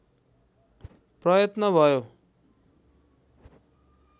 प्रयत्न भयो